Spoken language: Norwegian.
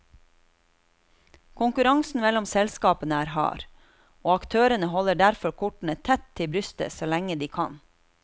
Konkurransen mellom selskapene er hard, og aktørene holder derfor kortene tett til brystet så lenge de kan.